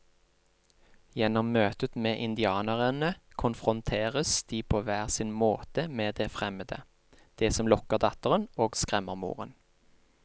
Gjennom møtet med indianerne konfronteres de på hver sin måte med det fremmede, det som lokker datteren og skremmer moren.